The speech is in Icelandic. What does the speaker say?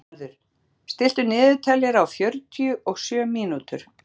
Bjarnharður, stilltu niðurteljara á fjörutíu og sjö mínútur.